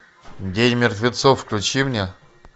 день мертвецов включи мне